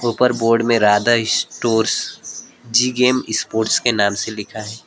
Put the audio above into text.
ऊपर बोर्ड में Radha stores G M sports के नाम से लिखा है।